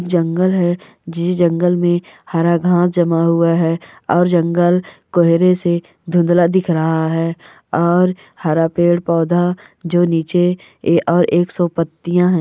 जंगल है। जांगले में हरा गाँव जमा हुआ है। और जंगल कोहरे से दुन्दला दिख रहा है। और हरा पेड़ पौधा जो नीचे है। और एक सौ पत्तियाँ है।